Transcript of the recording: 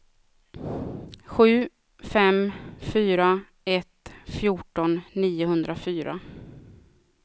sju fem fyra ett fjorton niohundrafyra